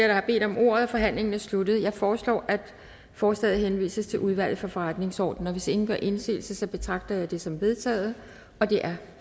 der har bedt om ordet er forhandlingen sluttet jeg foreslår at forslaget henvises til udvalget for forretningsordenen hvis ingen gør indsigelse betragter jeg dette som vedtaget det er